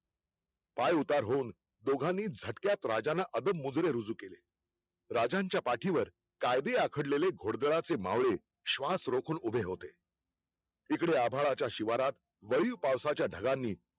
पाय उतार होऊन दोघानी झटक्यात राजाना अदब मुजरे रुजू केले. राजांच्या पाठीवर कायदी आखडलेले घोडदराचे मावळे श्वास रोखुन उभे होते इकडे आभाळाच्या शिवारात वळीव पावसाचा ढगांनी